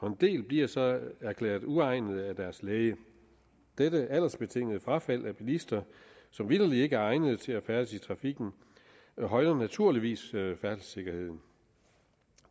en del bliver så erklæret uegnet af deres læge dette aldersbetingede frafald af bilister som vitterlig ikke er egnede til at færdes i trafikken højner naturligvis færdselssikkerheden